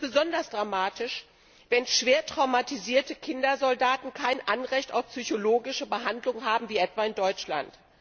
Dies ist besonders dramatisch, wenn schwer traumatisierte Kindersoldaten kein Anrecht auf psychologische Behandlung haben wie etwa in Deutschland.